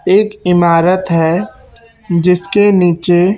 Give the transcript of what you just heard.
एक इमारत है जिसके नीचे--